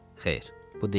Xeyr, bu deyildi.